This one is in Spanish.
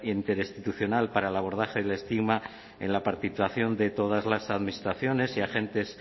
interinstitucional para el abordaje del estigma en la participación de todas las administraciones y agentes